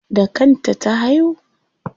Da kan ta ta haihu?